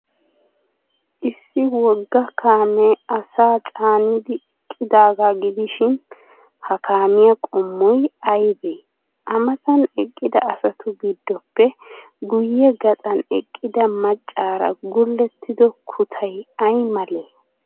Issi wogga kaamee asaa caaniiddi eqqidaagaa gidishin, ha kaamiyaa qommoy aybee? A matan eqqida asatu giddoppe guyye gaxan eqqida maccaara gullettido kutay ay malee?